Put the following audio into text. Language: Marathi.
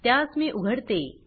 त्यास मी उघडते